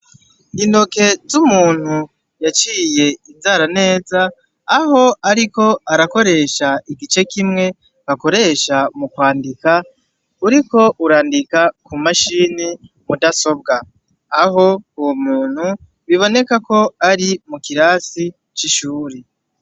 Intoke z'umuntu yaciye inzara neza, aho ariko arakoresha igice kimwe bakoresha mu kwandika, uriko urandika ku mashini mudasobwa; aho uwo muntu biboneka ko ari mu kirasi c'ishure